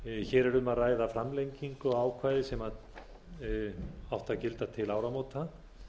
hér er um að ræða framlengingu á ákvæði sem átti að gilda til áramóta